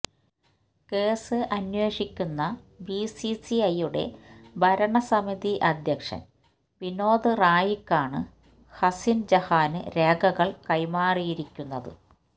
case അന്വേഷിക്കുന്ന ബിസിസിഐയുടെ ഭരണ സമിതി അധ്യക്ഷന് വിനോദ് റായിക്കാണ് ഹസിന് ജഹാന് രേഖകള് കൈമാറിയിരിക്കുന്നത്